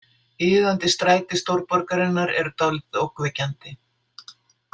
Iðandi stræti stórborgarinnar eru dálítið ógnvekjandi.